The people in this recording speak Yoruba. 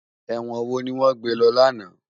Èwòn wó niwòn gbé lò làná?